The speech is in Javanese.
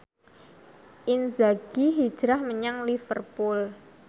Inzaghi hijrah menyang Liverpool